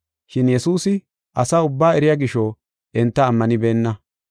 Shin Yesuusi asaa ubbaa eriya gisho enta ammanibena.